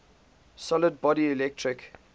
solid body electric